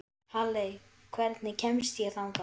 Halley, hvernig kemst ég þangað?